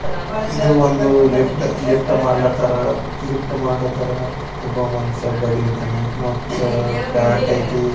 ಇದು ಒಂದು ಲಿಫ್ಟ್ ಮಾಡ ಕತ್ತಾರಇದು ಒಂದು ಲಿಫ್ಟ್ ಮಾಡ ಕತ್ತಾರ ಒಬ್ಬ ಮನಸ್ಯ ಬಗ್ಗಿ ನಿಂತಾನ ಮತ್ತ ಪ್ಯಾಂಟ್ ಐತಿ.